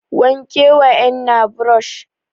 wanke wa ennan brush